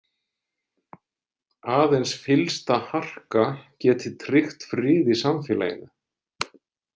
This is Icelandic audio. Aðeins fyllsta harka geti tryggt frið í samfélaginu.